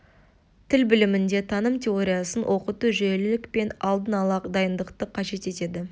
тіл білімінде таным теориясын оқыту жүйелілік пен алдын ала дайындықты қажет етеді